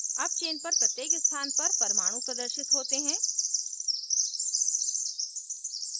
अब chain पर प्रत्येक स्थान पर परमाणू प्रदर्शित होते हैं